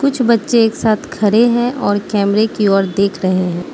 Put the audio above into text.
कुछ बच्चे एक साथ खडे़ हैं और कैमरे की ओर देख रहे हैं।